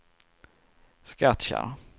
Skattkärr